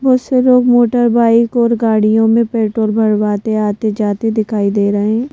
बहुत से लोग मोटर बाइक और गाड़ियों में पेट्रोल भरवाते आते जाते दिखाई दे रहे हैं।